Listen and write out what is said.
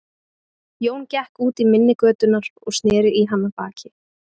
Jón gekk út í mynni götunnar og sneri í hana baki.